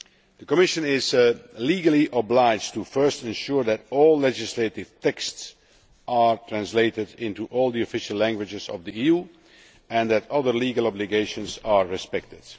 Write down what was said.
The Commission is legally obliged to ensure first that all legislative texts are translated into all the official languages of the EU and that other legal obligations are respected.